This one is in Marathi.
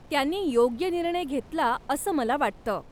त्यांनी योग्य निर्णय घेतला असं मला वाटतं.